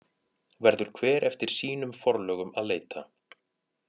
Verður hver eftir sínum forlögum að leita.